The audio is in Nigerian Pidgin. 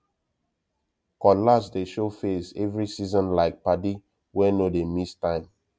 cutlass dey show face every seasonlike padi wey no dey miss time